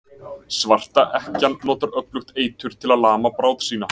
Svarta ekkjan notar öflugt eitur til að lama bráð sína.